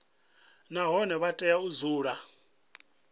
nahone vha tea u dzula